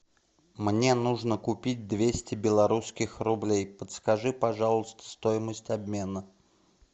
мне нужно купить двести белорусских рублей подскажи пожалуйста стоимость обмена